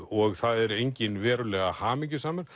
og það er enginn verulega hamingjusamur